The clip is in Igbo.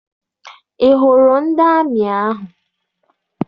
Ị hụrụ ndị amị ahụ?